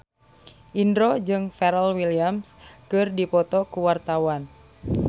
Indro jeung Pharrell Williams keur dipoto ku wartawan